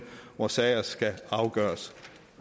hvor sager skal afgøres